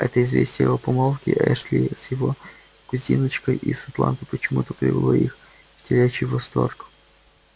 это известие о помолвке эшли с его кузиночкой из атланты почему-то привело их в телячий восторг